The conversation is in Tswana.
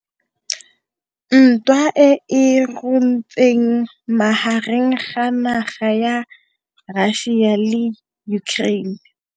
Ntwa e e runtseng magareng ga naga ya Russia le Ukraine